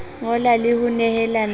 ngola le ho nehelana ka